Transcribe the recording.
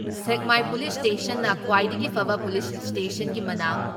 ꯁꯦꯛꯃꯥꯏ police ꯏꯁꯇꯦꯁꯟꯅ ꯈ꯭ꯋꯥꯏꯗꯒꯤ ꯐꯕ ꯄꯨꯂꯤꯁ ꯏꯁꯇꯦꯁꯟꯒꯤ ꯃꯅꯥ